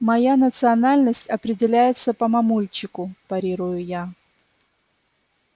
моя национальность определяется по мамульчику парирую я